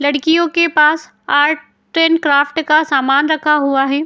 लडकियों के पास आर्ट एंड क्राफ्ट का सामान रखा हुआ है।